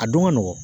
A don ka nɔgɔn